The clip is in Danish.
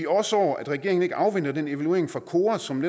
også over at regeringen ikke afventer netop den evaluering fra kora som